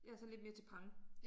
Jeg er sådan lidt mere til pang